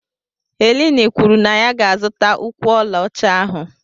Helen kwuru na ya ga-azụta ụkwụ ọlaọcha ahụ